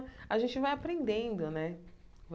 A gente vai aprendendo, né?